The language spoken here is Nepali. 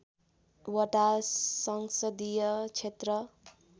वटा संसदीय क्षेत्र